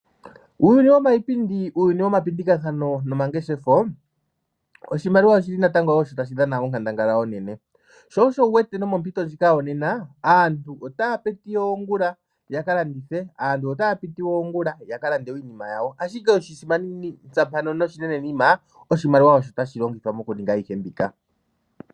Uuyuni wiipindi, uuyuni woma pindikathano nomangeshefo Oshimaliwa oshili natango osho tashi dhana onkandangala onene sho osho wuwete nomompito ndjika yonena aantu otaya piti oongula ya kalandithe. Aantu otaya piti oongula ya kalande iinima yawo ashike Oshimaliwa osho tashi longithwa moku ninga ayihe mbika.